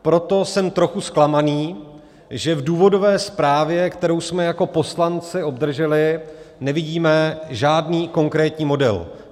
Proto jsem trochu zklamaný, že v důvodové zprávě, kterou jsme jako poslanci obdrželi, nevidíme žádný konkrétní model.